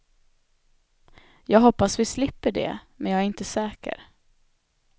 Jag hoppas vi slipper det, men jag är inte säker.